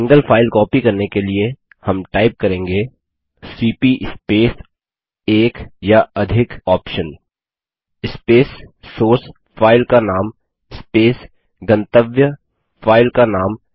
single file copy करने के लिए हम टाइप करेंगे सीपी स्पेस एक या अधिक OPTION स्पेस सोर्स फाइल का नाम स्पेस गंतव्य फाइल का नाम